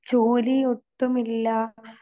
ജോലിയൊട്ടുമില്ലാ